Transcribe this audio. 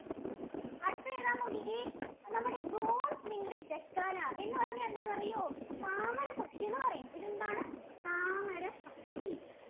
അടുത്തതേതാന്ന് നോക്കിക്കേ? നമ്മുടെ Bronze winged jacana. എന്ന് പറഞ്ഞാല്‍ എന്താന്നറിയോ? താമര പക്ഷീന്നു പറയും. ഇതെന്താണ് താമര പക്ഷി?